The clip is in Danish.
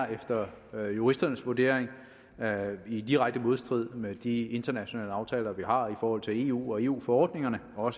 efter juristernes vurdering er i direkte modstrid med de internationale aftaler vi har i forhold til eu og eu forordningerne og